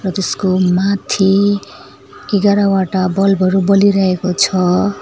त्यसको माथि ऐघारावटा बल्ब हरू बलिरहेको छ।